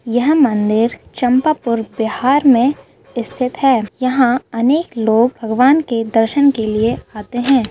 यह मंदिर चंपापुर बिहार में स्थित है यहां अनेक लोग भगवान के दर्शन के लिए आते हैं।